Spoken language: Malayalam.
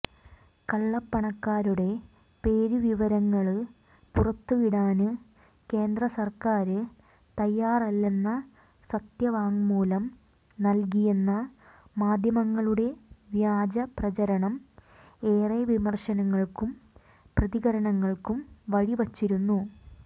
കള്ളപ്പണക്കാരുടെ പേരുവിവരങ്ങള് പുറത്തുവിടാന് കേന്ദ്രസര്ക്കാര് തയ്യാറല്ലെന്ന് സത്യവാങ്മൂലം നല്കിയെന്ന മാധ്യമങ്ങളുടെ വ്യാജപ്രചാരണം ഏറെ വിമര്ശനങ്ങള്ക്കും പ്രതികരണങ്ങള്ക്കും വഴിവച്ചിരുന്നു